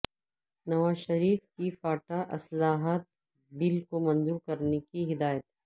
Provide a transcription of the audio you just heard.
نواز شریف کی فاٹا اصلاحات بل کو منظور کرنے کی ہدایت